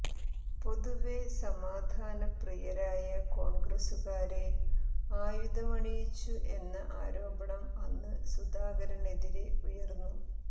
പൊതുവേ സമാധാന പ്രിയരായ കോൺഗ്രസുകാരെ ആയുധമണിയിച്ചു എന്ന ആരോപണം അന്ന് സുധാകരനെതിരെ ഉയർന്നു